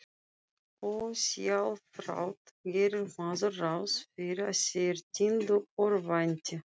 Ósjálfrátt gerir maður ráð fyrir að þeir týndu örvænti.